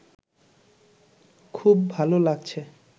খুব ভালো লাগছে